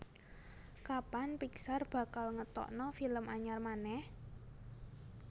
Kapan Pixar bakal ngetokno film anyar maneh?